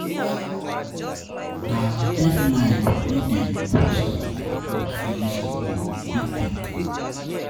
Na deadline wey dem put dey help me finish di work quick-quick.